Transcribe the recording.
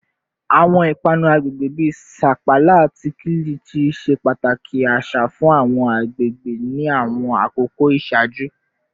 Awọn ipanu agbegbe bi sapala ati kilichi ṣe pataki aṣa fun awọn agbegbe ni awọn akoko iṣaaju